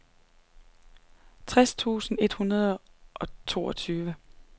tres tusind et hundrede og toogtyve